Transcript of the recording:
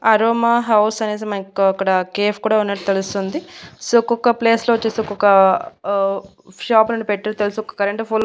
aroma house అనేసి మేకు అక్కడ కేఫ్ కూడా ఉన్నట్టు తెలుస్తుంది సో ఒక్కొక్క ప్లేస్ లో వచ్చేసి ఒక్కొక్క ఆ షాప్లను పెట్టు తెలుసు ఒక కరెంటు పోల్ --